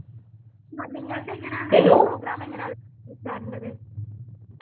ആഹ് നിങ്ങൾതെങ്ങനാണ് program എങ്ങനാണ് HR ന്റേത്